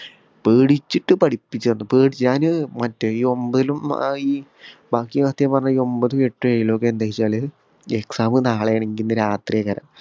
പേടിച്ചിട്ട് പഠിപ്പിച്ചാന്ന് പേടിച് ഞാന് ഏർ മറ്റേ ഈ ഒമ്പപതിലും ആഹ് ഈ ബാക്കി സത്യം പറഞ്ഞയിന ഒമ്പതും എട്ടും ഏഴിലൊക്കെ എന്താച്ചല് exam നാളെയാണെങ്കില് ഇന്ന് രാത്രിയാണി